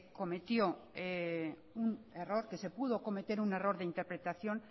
cometió un error que se pudo cometer un error de interpretación